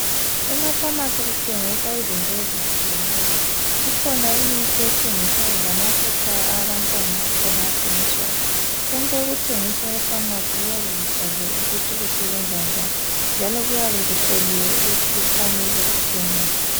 Emafamasi kuthengiswa izinto ezitshiyeneyo. Ikhona imithi ethengiswayo lamafutha abantwana akhona athengiswayo. Konke okuthengiswa efamasi kuyabe kubhaliwe ukuthi kusebenza njani njalo kuyabe kuhloliwe ukuthi kufanele kuthengiswe.